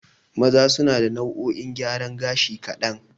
Maza suna da nau'o'in gyaran gashi kaɗan.